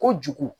Kojugu